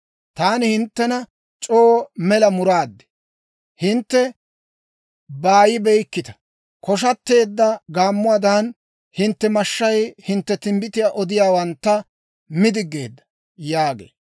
Taani hinttena c'oo mela muraad; hintte baayibeykkita. Koshateedda gaammuwaadan, hintte mashshay hintte timbbitiyaa odiyaawantta mi diggeedda» yaagee.